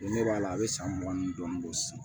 Ne b'a la a bɛ san mugan ni dɔɔnin don sisan